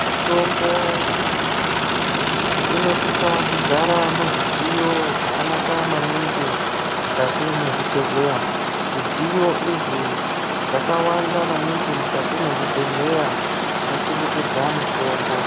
Mitombo inosisa kugara muzvidziyo zvakanakawo maningi mukati mwezvibhedhlera. Zvidziyo izvi zvakawanda maningi mukati mwezvibhedhlera zvinochengetedza mutombo.